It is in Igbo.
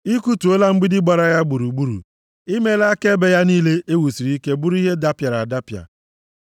Ị kụtuola mgbidi gbara ya gburugburu, i meela ka ebe ya niile e wusiri ike bụrụ ihe dapịara adapịa.